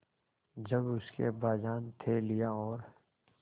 जब उसके अब्बाजान थैलियाँ और